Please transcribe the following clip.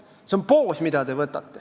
See on poos, mille ta võtab.